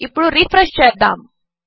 ఇప్పుడు రిఫ్రెష్ చేద్దాము